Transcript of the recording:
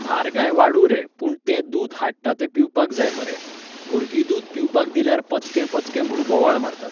म्हारगाय वाडूं रे पूण तें दूद हाडटा तें पिवपाक जाय मरे. भुरगीं दूद पिवपाक दिल्यार पचकें पचकें म्हूण बोवाळ मारतात